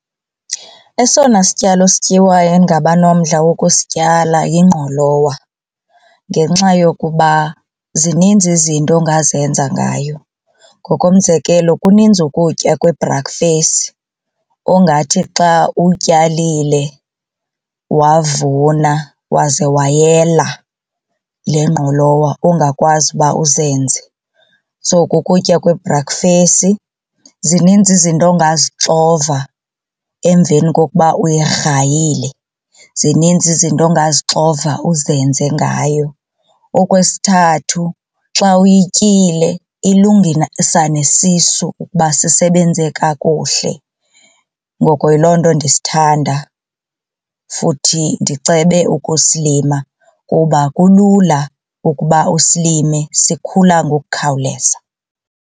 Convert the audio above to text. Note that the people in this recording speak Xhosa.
Esona sityalo sityiwayo endingaba nomdla wokusityala yingqolowa ngenxa yokuba zininzi izinto ongazenza ngayo. Ngokomzekelo kuninzi ukutya kwebhrakfesi ongathi xa utyalile wavuna waze wayela le ngqolowa ongakwazi uba uzenze so kukutya kwebhrakfesi. Zininzi izinto ongazixova emveni kokuba uyigrayile zininzi izinto ongazixova uzenze ngayo. Okwesithathu xa uyityile ilungisa nesisu ukuba sisebenze kakuhle ngoko yiloo nto ndisithanda futhi ndicebe ukusilima kuba kulula ukuba usilime sikhula ngokukhawuleza.